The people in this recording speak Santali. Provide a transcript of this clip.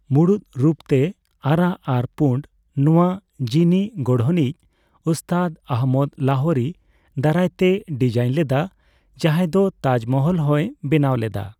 ᱢᱩᱬᱩᱛ ᱨᱩᱛ ᱛᱮ ᱟᱨᱟᱜ ᱟᱨ ᱯᱩᱸᱬ, ᱱᱚᱣᱟ ᱡᱤᱱᱤᱜᱚᱬᱦᱚᱱᱤᱡ ᱩᱥᱛᱟᱫ ᱚᱦᱢᱚᱫ ᱞᱟᱦᱳᱨᱤ ᱫᱟᱨᱟᱭ ᱛᱮᱭ ᱰᱤᱡᱟᱭᱤᱱ ᱞᱮᱫᱟ, ᱡᱟᱸᱦᱟᱭ ᱫᱚ ᱛᱟᱡᱢᱚᱦᱚᱞ ᱦᱚᱸᱭ ᱵᱮᱱᱟᱣ ᱞᱮᱫᱟ ᱾